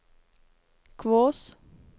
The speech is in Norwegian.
Kvås